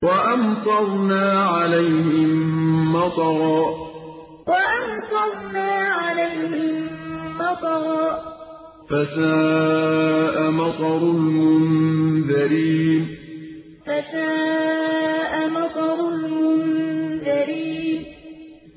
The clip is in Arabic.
وَأَمْطَرْنَا عَلَيْهِم مَّطَرًا ۖ فَسَاءَ مَطَرُ الْمُنذَرِينَ وَأَمْطَرْنَا عَلَيْهِم مَّطَرًا ۖ فَسَاءَ مَطَرُ الْمُنذَرِينَ